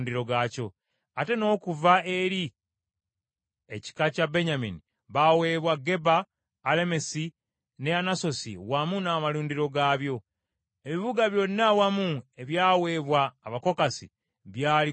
Ate n’okuva eri ekika kya Benyamini baaweebwa Gibyoni ne Geba, ne Allemesi, ne Anasosi wamu n’amalundiro gaabyo. Ebibuga byonna awamu ebyaweebwa Abakokasi byali kkumi na bisatu.